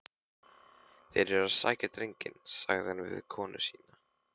Þeir eru að sækja drenginn, sagði hann við konu sína.